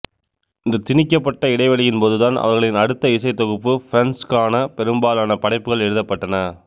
இந்தத் திணிக்கப்பட்ட இடைவெளியின் போதுதான் அவர்களின் அடுத்த இசைத் தொகுப்பு பிரசன்ஸ் க்கான பெரும்பாலான படைப்புகள் எழுதப்பட்டன